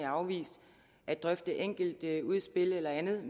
afvist at drøfte enkelte udspil eller andet